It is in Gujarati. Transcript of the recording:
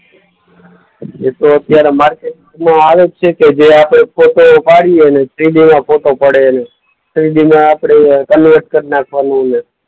એ તો અત્યારે માર્કેટમાં આવે જ છે કે જે આપણે ફોટો પાડીએ, ને થ્રીડીમાં ફોટો પડે, ને થ્રીડીમાં આપણે કન્વર્ટ કર નાખવાનું ને.